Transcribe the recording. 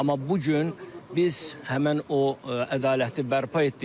Amma bu gün biz həmin o ədaləti bərpa etdik.